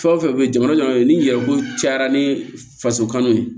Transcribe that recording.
Fɛn o fɛn bɛ yen jamana ɲɛma bɛ ni yɛrɛ ko cayara ni faso kanu ye